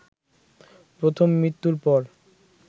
প্রথম মৃত্যুর পর